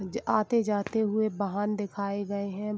आते जाते हुए वाहन दिखाये गए हैं।